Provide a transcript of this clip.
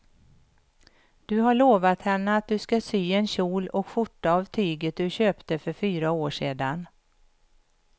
Du har lovat henne att du ska sy en kjol och skjorta av tyget du köpte för fyra år sedan.